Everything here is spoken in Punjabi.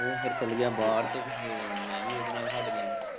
ਓ ਫੇਰ ਚੱਲ ਗਿਆ ਬਾਰ ਤੇ ਮੈਂ ਵੀ ਉਦੇ ਨਾਲ ਹੱਟ ਗਿਆ।